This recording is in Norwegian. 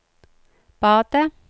badet